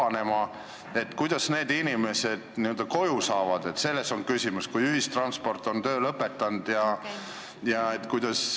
Küsimus on selles, kuidas need inimesed pärast koju saavad, kui ühistransport on töö lõpetanud.